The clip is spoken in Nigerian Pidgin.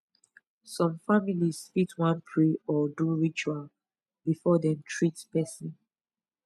some families fit wan pray or do ritual before dem treat person